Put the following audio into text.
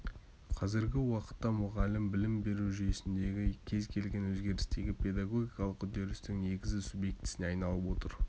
қазіргі уақытта мұғалім білім беру жүйесіндегі кез келген өзгерістегі педагогикалық үдерістің негізгі субъектісіне айналып отыр